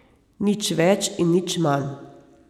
Nič več in nič manj.